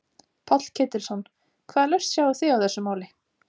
Páll Ketilsson: Hvaða lausn sjáið þið á þessu máli?